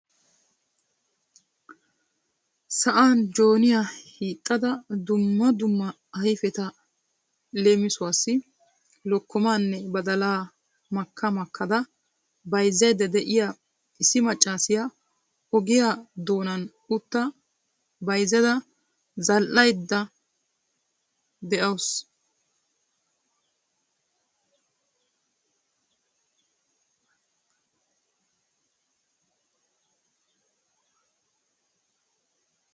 Sa'an Jooniyaa hiixxada dumma dumma ayfeta leemissuwassi lokkomanne badalaa makka makkada bayzzayda de'iyaa issi maccassiya ogiyaa doonan utta bayyada zal"aydda de'awus.